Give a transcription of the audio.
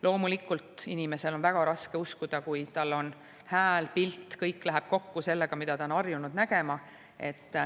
Loomulikult, inimesel on väga raske uskuda, kui tal on hääl ja pilt, kõik läheb kokku sellega, mida ta on harjunud nägema.